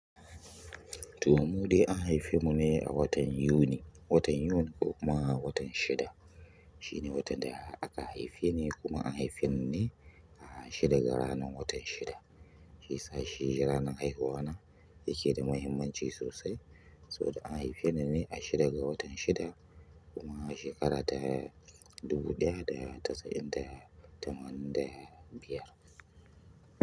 Toh, mudai an haife mu ne a watan Yuni. Watan Yun, ko kuma watan shida. Shine watan da aka haife ni kuma an haife ni ne a shida ga ranan watan shida. Shiyasa shi ranan haihuwa na yake da mahimmanci sosai saboda an haife ni ne a shida ga watan shida kuma a shekara ta dubu ɗaya da casa'in da tamanin da biyar.